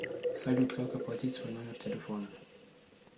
салют как оплатить свой номер телефона